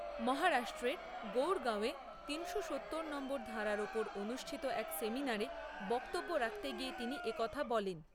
মহারাষ্ট্রের গুরগাঁওয়ে তিনশো সত্তর নং ধরার উপর অনুষ্ঠিত এক সেমিনারে বক্তব্য রাখতে গিয়ে তিনি একথা বলেন।